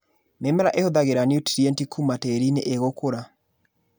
Mĩmera ĩhuthagĩra niutrienti kũma tĩrinĩ ĩgũkũra.